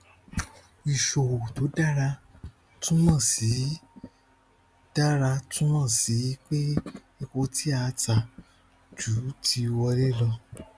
ìṣòwò tó dára túmọ sí dára túmọ sí pé epo tí a ta ju ti wọlé lọ